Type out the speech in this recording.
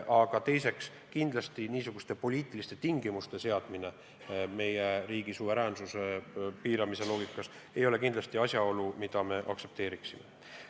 Samas ei ole selliste poliitiliste tingimuste seadmine, püüdes piirata meie riigi suveräänsust, kindlasti asjaolu, mida me aktsepteeriksime.